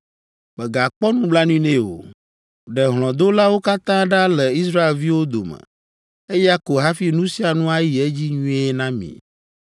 Mègakpɔ nublanui nɛ o! Ɖe hlɔ̃dolawo katã ɖa le Israelviwo dome! Eya ko hafi nu sia nu ayi edzi nyuie na mi.